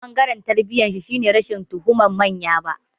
Ɓangaren tarbiyyarshi shine rashin tuhumar manya ba.